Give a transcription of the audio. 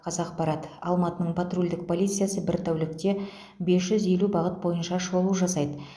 қазақпарат алматының патрульдік полициясы бір тәулікте бес жүз елу бағыт бойынша шолу жасайды